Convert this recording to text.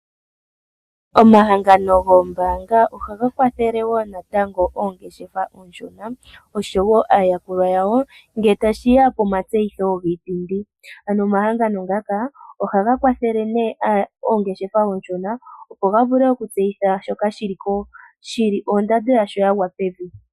Omahangano goombaanga ohaga kwathele wo natango oongeshefa oonshona, osho wo aayakulwa yawo ngele tashi ya komatseyitho giipindi. Ano omahangano ngaka ohaga kwathele nee oongeshefa oonshona opo ga vule okutseyitha shoka shi li ondando yasho ya gwa pevi.